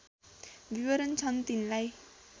विवरण छन् तिनलाई